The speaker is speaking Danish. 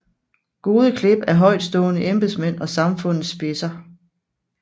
Gode klip af højtstående embedsmænd og samfundets spidser